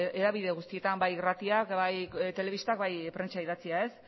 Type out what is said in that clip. hedabide guztietan bai irratiak bai telebistak bai prentsa idatzia